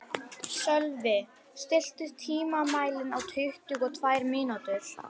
Sölvi, stilltu tímamælinn á tuttugu og tvær mínútur.